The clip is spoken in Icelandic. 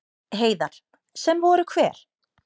Heiðar: Sem voru hver?